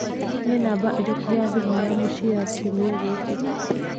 Nĩ namba ĩrĩkũ ya thimũ ya mũciĩ ya kiumia gĩkĩ?